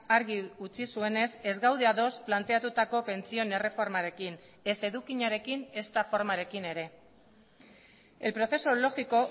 argi utzi zuenez ez gaude ados planteatutako pentsioen erreformarekin ez edukiarekin ezta formarekin ere el proceso lógico